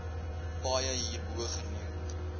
paaie hierbo genoem